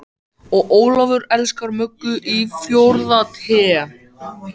Og Ólafur elskar Möggu í fjórða Té.